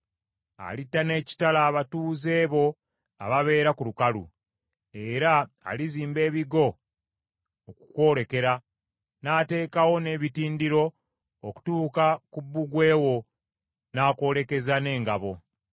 Alitta n’ekitala abatuuze bo ababeera ku lukalu, era alizimba ebigo okukwolekera, n’ateekawo n’ebitindiro okutuuka ku bbugwe wo n’akwolekeza n’engabo.